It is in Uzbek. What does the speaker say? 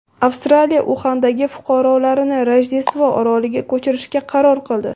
Avstraliya Uxandagi fuqarolarini Rojdestvo oroliga ko‘chirishga qaror qildi.